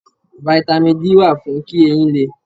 Fítámì D wà fún kí eyín lé.